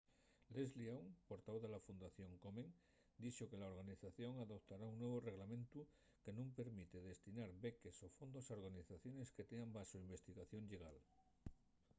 leslie aun portavoz de la fundación komen dixo que la organización adoptara un nuevu reglamentu que nun permite destinar beques o fondos a organizaciones que tean baxo investigación llegal